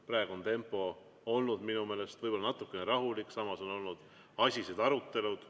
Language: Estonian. Praegu on tempo olnud minu meelest võib-olla natukene rahulik, samas on olnud asised arutelud.